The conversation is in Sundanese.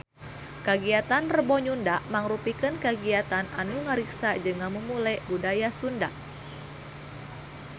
Saur Dira Sugandi kagiatan Rebo Nyunda mangrupikeun kagiatan anu ngariksa jeung ngamumule budaya Sunda